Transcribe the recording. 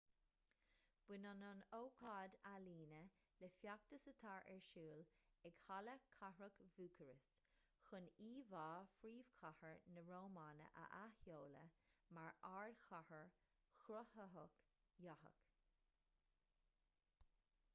baineann an ócáid ​​ealaíne le feachtas atá ar siúl ag halla cathrach bhúcairist chun íomhá phríomhchathair na rómáine a athsheoladh mar ardchathair chruthaitheach dhathach